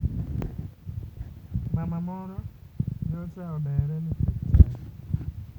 Mama moro nyocha odere nikech chadi.